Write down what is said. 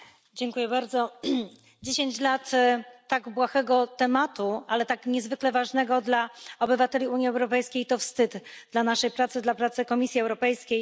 Pani Przewodnicząca! Dziesięć lat tak błahego tematu, ale tak niezwykle ważnego dla obywateli Unii Europejskiej, to wstyd dla naszej pracy, dla pracy Komisji Europejskiej.